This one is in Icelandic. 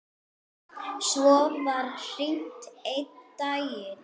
Svo var hringt einn daginn.